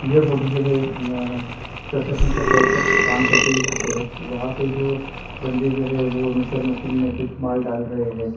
ये फोटो जो है अ कंस्ट्रक्शन के साइड का काम करते हुए फोटो है वहाँ पे जो बंदे जो है वो मिक्सचर मशीन में कुछ माल डाल रहै हैं।